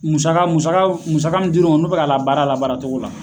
Musaka musaka mun di u r'u ma n'u be ka labaara a la baaratogo la